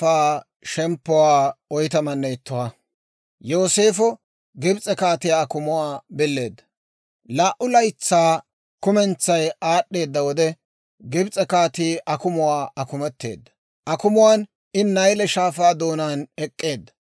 Laa"u laytsaa kumentsay aad'd'eedda wode, Gibs'e kaatii akumuwaa akumeteedda; akumuwaan I Nayle Shaafaa doonaan ek'k'eedda;